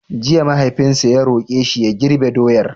Jiya mahaifinsa ta roƙe shi ya girbe doyar!